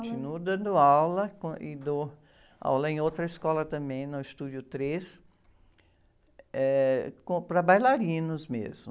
Continuo dando aula com, e dou aula em outra escola também, no Estúdio Três, eh, com, para bailarinos mesmo.